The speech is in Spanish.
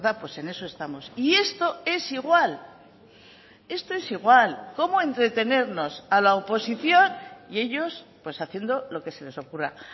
pues en eso estamos y esto es igual esto es igual cómo entretenernos a la oposición y ellos pues haciendo lo que se les ocurra